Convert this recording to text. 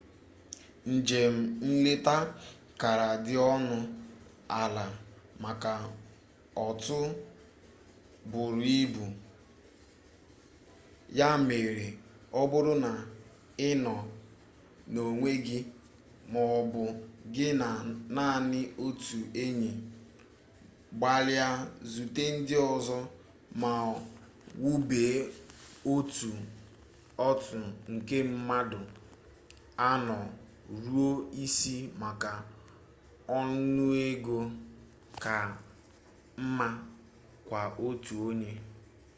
njem nleta kara dị ọnụ ala maka otu buru ibu ya mere ọ bụrụ na ị nọ n'onwe gị ma ọ bụ gị na naanị otu enyi gbalịa zute ndị ọzọ ma wube otu otu nke mmadụ anọ ruo isii maka ọnụego ka mma kwa-otu-onye